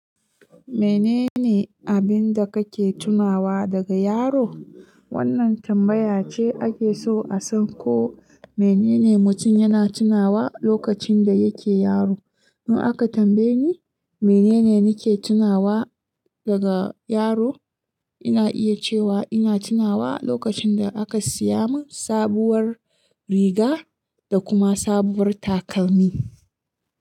Menene abin da kake tunawa daga yaro? Wannan tambaya ce ake so a san ko menene mutum yana tunawa lokacin da yake yaro. In aka tambaye ni menene nake tunawa daga yaro, ina iya cewa ina tunawa lokacin da aka siya mun sabuwar riga da kuma sabuwar takalmi.